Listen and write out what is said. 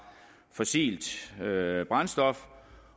fossilt brændstof